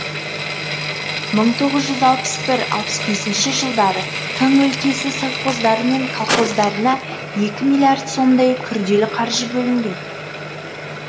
бір мың тоғыз жүз алпыс бір алпыс бесінші жылдары тың өлкесі совхоздары мен колхоздарына екі миллиард сомдай күрделі қаржы бөлінген